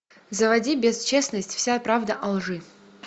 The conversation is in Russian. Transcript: заводи бесчестность вся правда о лжи